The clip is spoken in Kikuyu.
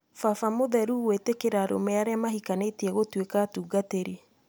Baba mũtheru gwĩtĩkĩria arũme arĩa mahikanĩtie gũĩtuĩka atungatĩri